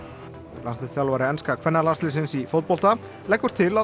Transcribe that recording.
landsliðsþjálfari enska kvennalandsliðsins í fótbolta leggur til að